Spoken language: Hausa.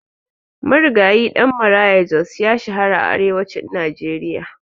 Marigayi Ɗan Maraya Jos ya shahara a arewacin Najeriya.